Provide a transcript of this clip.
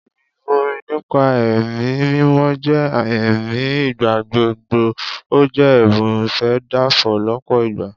Ìrìbọmi nípa ẹ̀mí mímọ́ jẹ́ àmì ìgbàgbọ́, ó jẹ́ ẹ̀bùn ìfèdèfọ̀ lọ́pọ̀ ìgbà